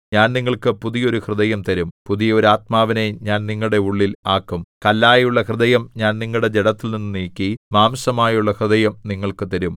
ഞാൻ നിങ്ങൾക്ക് പുതിയ ഒരു ഹൃദയം തരും പുതിയ ഒരു ആത്മാവിനെ ഞാൻ നിങ്ങളുടെ ഉള്ളിൽ ആക്കും കല്ലായുള്ള ഹൃദയം ഞാൻ നിങ്ങളുടെ ജഡത്തിൽനിന്നു നീക്കി മാംസമായുള്ള ഹൃദയം നിങ്ങൾക്ക് തരും